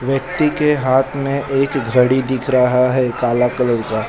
व्यक्ति के हाथ में एक घड़ी दिख रहा है काला कलर का।